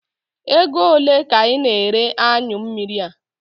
Ego ole ka ị na ere anyụ mmiri a?